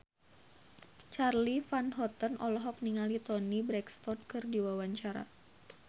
Charly Van Houten olohok ningali Toni Brexton keur diwawancara